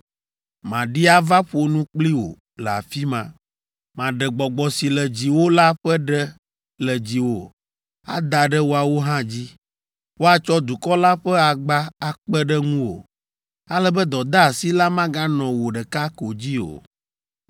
Maɖi ava ƒo nu kpli wò le afi ma. Maɖe Gbɔgbɔ si le dziwò la ƒe ɖe le dziwò ada ɖe woawo hã dzi. Woatsɔ dukɔ la ƒe agba akpe ɖe ŋuwò ale be dɔdeasi la maganɔ wò ɖeka ko dzi o.